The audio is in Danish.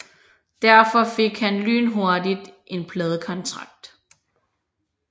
Derfor fik han lynhurtigt en pladekontrakt